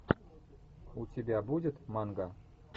у тебя будет манга